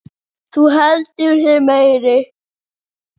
Þú heldur þig meiri.